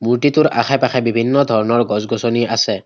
মূৰ্ত্তিটোৰ আশে পাশে বিভিন্ন ধৰণৰ গছ গছনি আছে।